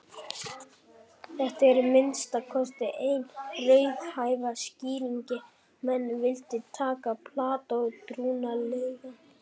Þetta er að minnsta kosti eina raunhæfa skýringin ef menn vilja taka Plató trúanlegan.